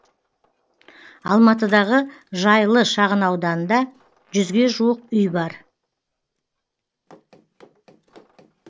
алматыдағы жайлы шағын ауданында жүзге жуық үй бар